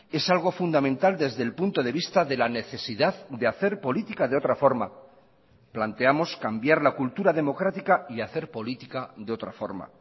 es algo fundamental desde el punto de vista de la necesidad de hacer política de otra forma planteamos cambiar la cultura democrática y hacer política de otra forma